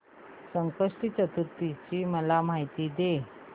संकष्टी चतुर्थी ची मला माहिती दे